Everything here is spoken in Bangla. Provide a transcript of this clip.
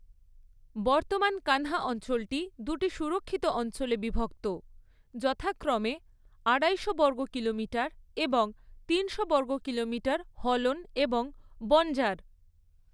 বর্তমান কান্হা অঞ্চলটি দুটি সুরক্ষিত অঞ্চলে বিভক্ত, যথাক্রমে আড়াইশো বর্গ কিলোমিটার এবং তিনশো বর্গ কিলোমিটার হলন এবং বঞ্জার।